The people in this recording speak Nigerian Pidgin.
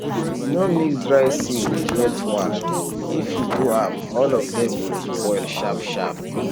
no mix dry seed with wet one if you do am all of dem go spoil sharp sharp